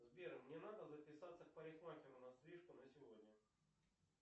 сбер мне надо записаться к парикмахеру на стрижку на сегодня